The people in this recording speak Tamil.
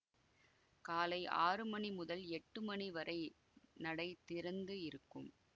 காலை ஆறு மணி முதல் எட்டு மணி வரை நடை திறந்து இருக்கும்